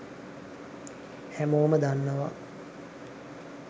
හැමෝම දන්නවා